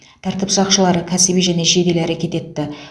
тәртіп сақшылары кәсіби және жедел әрекет етті